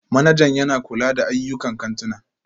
Manajan yana kula da ayyukan kantuna